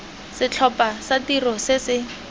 setlhopha sa tiro se se